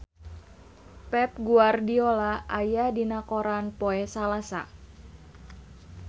Pep Guardiola aya dina koran poe Salasa